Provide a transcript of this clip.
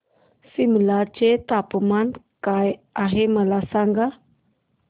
सिमला चे तापमान काय आहे मला सांगा